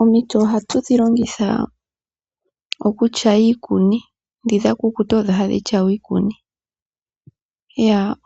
Omiti ohatu dhi longitha okutyaya iikuni. Ndhoka dha kukuta odho hadhi tyaywa iikuni.